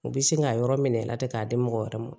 U bɛ sin k'a yɔrɔ minɛ a la ten k'a di mɔgɔ wɛrɛ ma